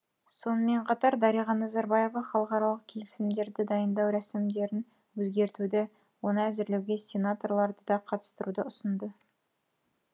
сонымен қатар дариға назарбаева халықаралық келісімдерді дайындау рәсімдерін өзгертуді оны әзірлеуге сенаторларды да қатыстыруды ұсынды